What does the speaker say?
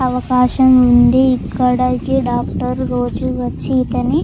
అవకాశం ఉంది ఇక్కడకి డాక్టర్ రోజు వచ్చి ఇతని --